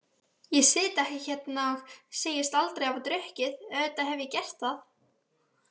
Ég sit ekki hérna og segist aldrei hafa drukkið, auðvitað hef ég gert það.